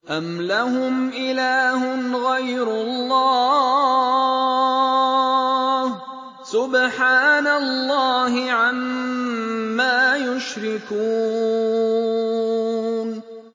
أَمْ لَهُمْ إِلَٰهٌ غَيْرُ اللَّهِ ۚ سُبْحَانَ اللَّهِ عَمَّا يُشْرِكُونَ